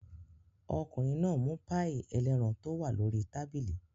Ọkùnrin náà mú páíì ẹlẹ́ran tó wà lórí tábìlì.